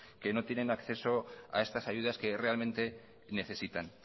que no tienen acceso a estas ayudas que realmente necesitan